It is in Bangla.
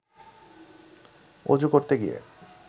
অজু করতে গিয়ে